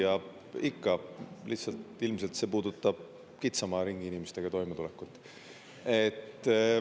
Hea küsija, ikka, lihtsalt ilmselt see puudutab kitsama ringi inimestega toimetulekut.